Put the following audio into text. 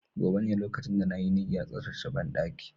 Gobe ​​ne lokacin da na yi niyyar tsaftace banɗaki